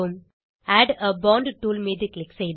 add a font tool மீது click செய்து